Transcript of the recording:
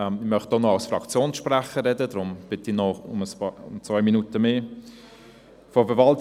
Ich möchte auch noch als Fraktionssprecher sprechen und bitte deswegen um zwei Minuten mehr Redezeit …